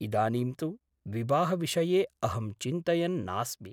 इदानीं तु विवाहविषये अहं चिन्तयन् नास्मि ।